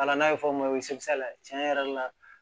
n'a ye fɔ min ma ko tiɲɛ yɛrɛ la